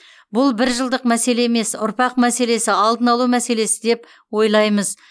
бұл бір жылдық мәселе емес ұрпақ мәселесі алдын алу мәселесі деп ойлаймыз